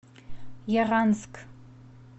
яранск